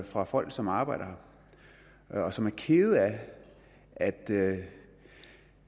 fra folk som arbejder her og som er kede af at det